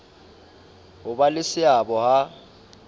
ho ba le seabo ha